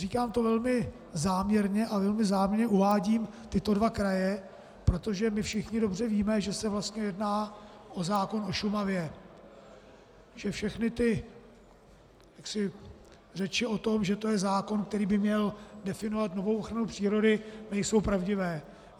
Říkám to velmi záměrně a velmi záměrně uvádím tyto dva kraje, protože my všichni dobře víme, že se vlastně jedná o zákon o Šumavě, že všechny ty řeči o tom, že to je zákon, který by měl definovat novou ochranu přírody, nejsou pravdivé.